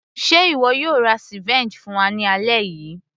ṣe ìwọ yóò ra ceviche fún wa ní alẹ́ yìí